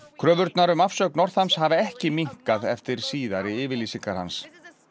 kröfurnar um afsögn Northams hafa ekki minnkað eftir síðari yfirlýsingar hans